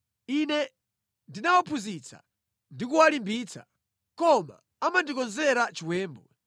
Ine ndinawaphunzitsa ndikuwalimbitsa, koma amandikonzera chiwembu.